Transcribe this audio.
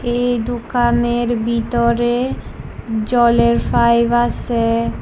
এই দোকানের ভিতরে জলের পাইপ আসে।